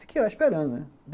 Fiquei lá esperando, né.